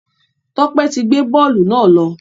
Tope tí gbé bóòlù náà ló.